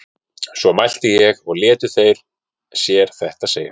svo mælti ég og létu þeir sér þetta segjast